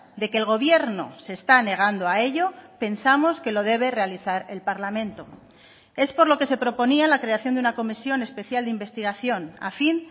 de que el gobierno se está negando a ello pensamos que lo debe realizar el parlamento es por lo que se proponía la creación de una comisión especial de investigación a fin